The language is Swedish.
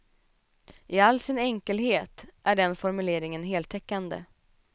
I all sin enkelhet är den formuleringen heltäckande.